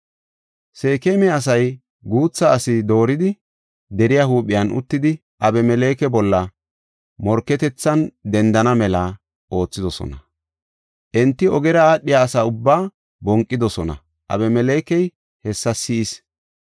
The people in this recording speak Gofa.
Seekema asay guutha asi dooridi deriya huuphiyan uttidi Abimeleke bolla morketethan dendana mela oothidosona. Enti ogera aadhiya asa ubbaa bonqidosona; Abimelekey hessa si7is.